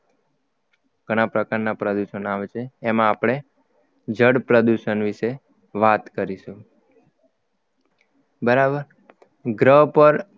ઘણા પ્રકારના પ્રદૂષણ આવે છે એમાં આપણે જળ પ્રદૂષણ વિશે વાત કરીશું બરાબર ગ્રહ પર